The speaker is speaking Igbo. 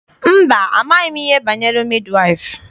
Mba, amaghị m ihe banyere midi waịfụ.